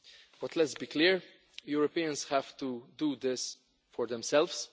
But let us be clear Europeans have to do this for themselves.